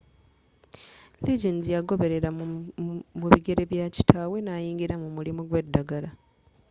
liggins yagoberela mu bigere bya kitaawe nayingira mu mulimu gwedagala